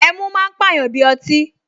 Ẹmu máa ń pàyàn bí ọtí